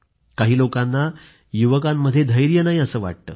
काही लोकांना युवकांमध्ये धैर्य नाही असं वाटतं